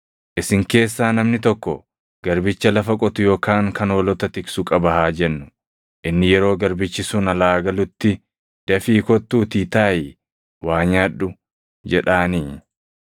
“Isin keessaa namni tokko garbicha lafa qotu yookaan kan hoolota tiksu qaba haa jennu; inni yeroo garbichi sun alaa galutti, ‘Dafii kottuutii taaʼii waa nyaadhu’ jedhaanii?